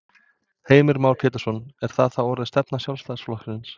Heimir Már Pétursson: Er það þá orðin stefna Sjálfstæðisflokksins?